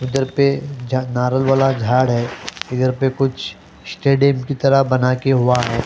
उधर पे नारल वाला झाड़ है इधर पे कुछस्टेडियम की तरहबना के हुआ है।